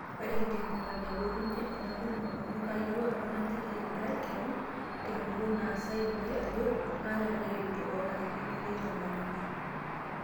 "Ore enkipirta naipotunye ena tumo amu kayieu apa naliki intay kewan teguton nasai intay ajoo kaata reteni oonarikino neitamanyuni.